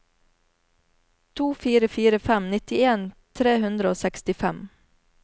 to fire fire fem nittien tre hundre og sekstifem